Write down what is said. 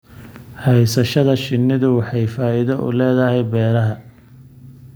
Haysashada shinnidu waxay faa'iido u leedahay beeraha.